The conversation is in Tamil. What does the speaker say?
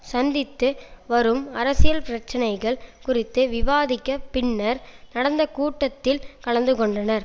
சந்தித்து வரும் அரசியல் பிரச்சனைகள் குறித்து விவாதிக்க பின்னர் நடந்த கூட்டத்தில் கலந்து கொண்டனர்